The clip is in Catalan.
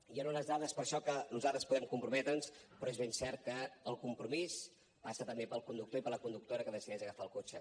hi han unes dades per això amb què nosaltres podem comprometre’ns però és ben cert que el compromís passa també pel conductor i per la conductora que decideix agafar el cotxe